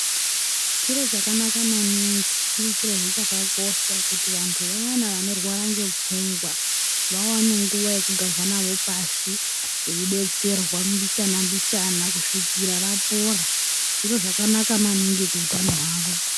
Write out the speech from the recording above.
Chiro chakanaka maningi chiri chirohe chakakosha kuti vantu vayana vanorwara ngepfungwa vawane nguwa yekugarwa navo pashi veidetserwa mbichana mbichana kusvika vapora, zviro zvakanaka maningi kuutano hwavo.